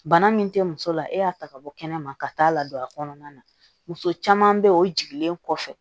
Bana min tɛ muso la e y'a ta ka bɔ kɛnɛma ka taa la don a kɔnɔna na muso caman bɛ yen o jiginlen kɔfɛ